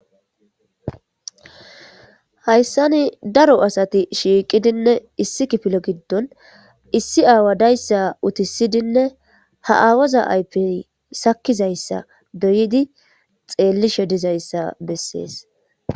Hayssani daro asati shiiqidinne issi kifile giddon issi aawadayssa utisidinne ha aawaza aypey sakizayssa doyidi xeellishe dizayssa bessees.